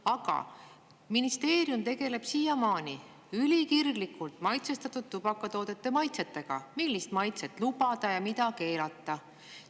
Aga ministeerium tegeleb siiamaani ülikirglikult maitsestatud tubakatoodete maitsetega, millist maitset lubada ja mida keelata.